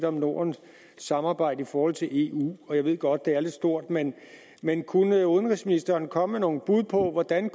om nordens samarbejde i forhold til eu jeg ved godt det er lidt stort men men kunne udenrigsministeren komme med nogle bud på hvordan